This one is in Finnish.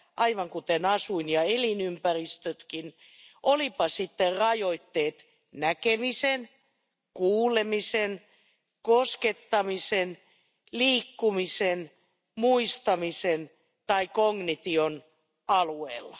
aivan kuten asuin ja elinympäristötkin olivatpa rajoitteet sitten näkemisen, kuulemisen, koskettamisen, liikkumisen, muistamisen tai kognition alueella.